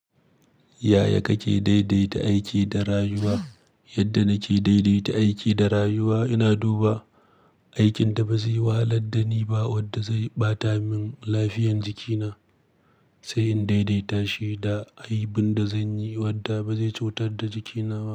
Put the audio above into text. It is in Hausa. Yaya kake daidaita aiki da rayuwa? Yadda nake daidaita aiki da rayuwa, ina duba aikin da ba zai wahalar da ni ba wadda zai ɓata min lafiyan jikina, sai in daidaita shi da ayyukan da zanyi wadda ba zai cutar da jikina ba.